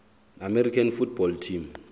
american football team